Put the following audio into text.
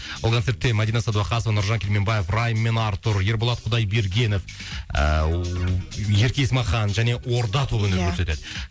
ол концертте мадина садуақасова нұржан керменбаев райм мен артур ерболат құдайбергенов ыыы ерке есмахан және орда тобы иә өнер көрсетеді